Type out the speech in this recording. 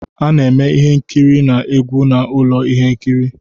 A na-eme ihe nkiri na egwu na ụlọ ihe nkiri